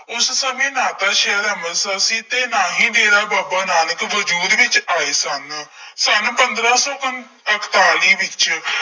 ਉਸ ਸਮੇਂ ਨਾ ਤਾਂ ਸ਼ਹਿਰ ਅੰਮ੍ਰਿਤਸਰ ਸੀ ਅਤੇ ਨਾ ਹੀ ਡੇਰਾ ਬਾਬਾ ਨਾਨਕ ਵਜੂਦ ਵਿੱਚ ਆਏ ਸਨ। ਸੰਨ ਪੰਦਰਾਂ ਸੌ ਪੰਤ ਇਕਤਾਲੀ ਵਿੱਚ